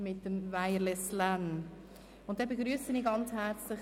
Nun begrüsse ich Herrn Regierungsrat Käser ganz herzlich.